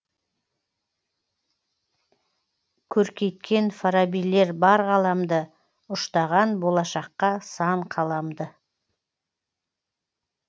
көркейткен фарабилер бар ғаламды ұштаған болашаққа сан қаламды